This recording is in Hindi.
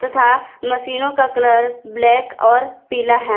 तथा मशीनों का कलर ब्लैक और पीला है।